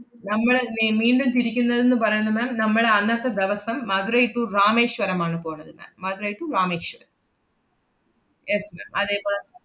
നമ്മള് മേ~ മീണ്ടും തിരിക്കുന്നതെന്ന് പറയുന്ന ma'am നമ്മള് അന്നത്തെ ദെവസം മധുരൈ to രാമേശ്വരം ആണ് പോണത് ma'am. Madurai to Rameswaram. yes ma'am അതേപോലെ